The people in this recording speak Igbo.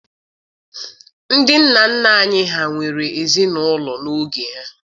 Ndị nna nna anyị ha nwere ezinaụlọ n'oge ha.